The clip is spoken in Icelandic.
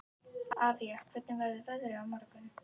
Avía, hvernig verður veðrið á morgun?